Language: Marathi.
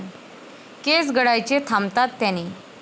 केस गळायचे थांबतात त्याने.